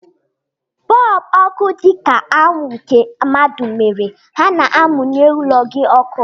Bọlbụ ọkụ dị ka anwụ nke mmadụ mere, ha na-amụnye ụlọ gị ọkụ.